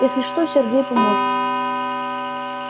если что сергей поможет